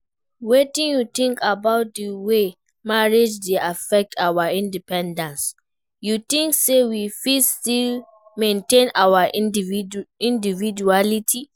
Wetin you think about di way marriage dey affect our independence, you think say we fit still maintain our individuality?